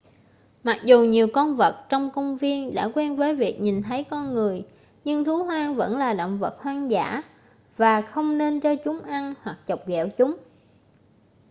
mặc dù nhiều con vật trong công viên đã quen với việc nhìn thấy con người nhưng thú hoang vẫn là động vật hoang dã và không nên cho chúng ăn hoặc chọc ghẹo chúng